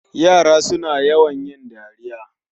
Yara suna yawan yin dariya